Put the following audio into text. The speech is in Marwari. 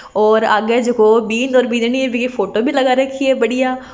और आगे जको बीन्द और बींदनी बिकी फोटो भी लगा रखी है बढ़िया।